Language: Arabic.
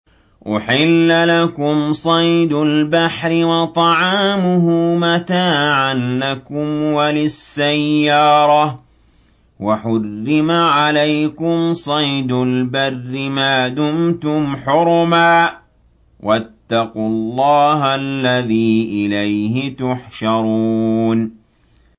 أُحِلَّ لَكُمْ صَيْدُ الْبَحْرِ وَطَعَامُهُ مَتَاعًا لَّكُمْ وَلِلسَّيَّارَةِ ۖ وَحُرِّمَ عَلَيْكُمْ صَيْدُ الْبَرِّ مَا دُمْتُمْ حُرُمًا ۗ وَاتَّقُوا اللَّهَ الَّذِي إِلَيْهِ تُحْشَرُونَ